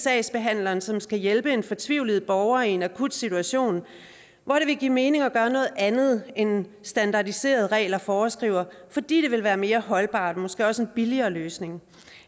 sagsbehandleren som skal hjælpe en fortvivlet borger i en akut situation hvor det ville give mening at gøre noget andet end standardiserede regler foreskriver fordi det ville være mere holdbart og måske også en billigere løsning